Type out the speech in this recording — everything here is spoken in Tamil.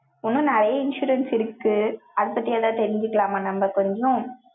இன்னும் நிறைய insurance இருக்கு. அதைப் பத்தி ஏதாவது தெரிஞ்சுக்கலாமா? நம்ம கொஞ்சம்?